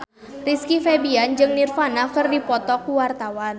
Rizky Febian jeung Nirvana keur dipoto ku wartawan